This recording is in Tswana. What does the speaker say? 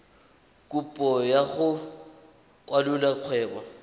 kopo ya go kwalolola kgwebo